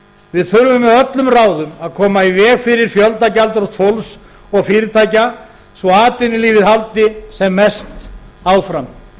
við þurfum með öllum ráðum að koma í veg fyrir fjöldagjaldþrot fólks og fyrirtækja svo atvinnulífið haldi sem mest áfram